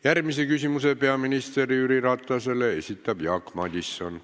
Järgmise küsimuse peaminister Jüri Ratasele esitab Jaak Madison.